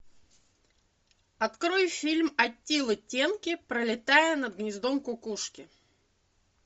открой фильм аттилы тенки пролетая над гнездом кукушки